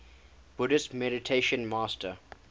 buddhist meditation master